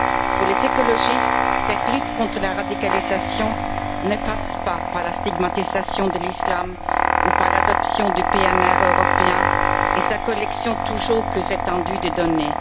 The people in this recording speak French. Pour les écologistes, cette lutte contre la radicalisation ne passe pas par la stigmatisation de l'islam ou par l'adoption du PNR européen et sa collecte toujours plus étendue des données.